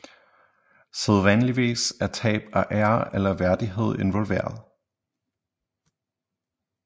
Sædvanligvis er tab af ære eller værdighed involveret